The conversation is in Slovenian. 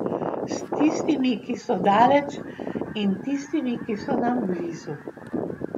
S tistimi, ki so daleč, in tistimi, ki so nam blizu.